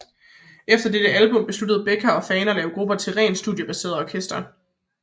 Efter dette album besluttede Becker og Fagen at lave gruppen til et rent studiebaseret orkester